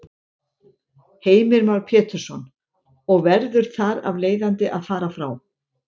Heimir Már Pétursson: Og verður þar af leiðandi að fara frá?